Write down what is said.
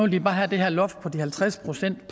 de bare have det her loft på halvtreds procent